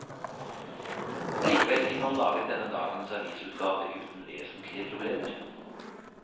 Likevel fikk man laget denne dagens avisutgave uten vesentlige problemer.